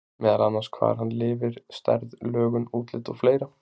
Meðal annars hvar hann lifir, stærð, lögun, útlit og fleira?